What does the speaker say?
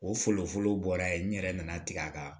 O fɔlɔ fɔlɔ bɔra ye n yɛrɛ nana tigɛ a kan